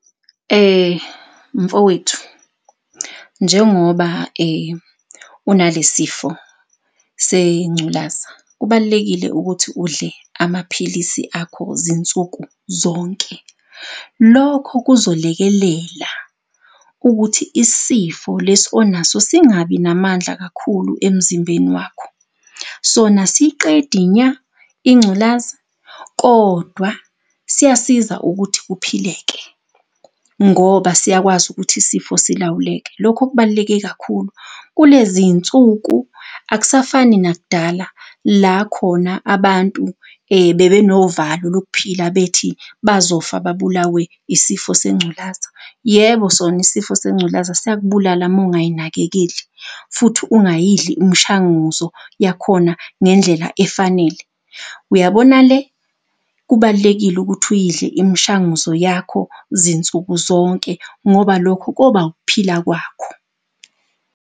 Mfowethu, njengoba unalesifo sengculaza, kubalulekile ukuthi udle amaphilisi akho zinsuku zonke. Lokho kuzolekelela ukuthi isifo lesi onaso singabi namandla kakhulu emzimbeni wakho. Sona asiyiqedi nya ingculaza kodwa siyasiza ukuthi kuphileke ngoba siyakwazi ukuthi isifo silawuleke, lokho kubaluleke kakhulu. Kuleziy'nsuku akusafani nak'dala la khona abantu bebenovalo lokuphila bethi bazofa babulawe isifo sengculaza. Yebo sona isifo sengculaza siyakubulala uma ungay'nakekeli, futhi ungayidli umshanguzo yakhona ngendlela efanele. Uyabona le kubalulekile ukuthi uyidle imishanguzo yakho zinsuku zonke ngoba lokho koba ukuphila kwakho.